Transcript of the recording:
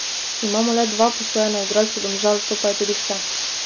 Imamo le dva posojena igralca Domžal, to je pa tudi vse.